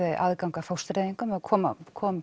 aðgang að fóstureyðingum kom kom